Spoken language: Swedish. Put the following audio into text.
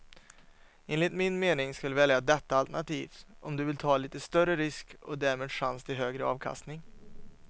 Enligt min mening ska du välja detta alternativ om du vill ta lite större risk och därmed chans till högre avkastning.